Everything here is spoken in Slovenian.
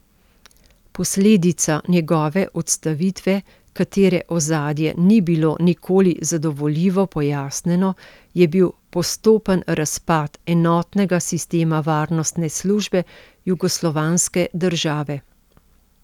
Posledica njegove odstavitve, katere ozadje ni bilo nikoli zadovoljivo pojasnjeno, je bil postopen razpad enotnega sistema varnostne službe jugoslovanske države.